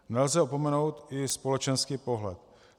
Nelze opomenout i společenský pohled.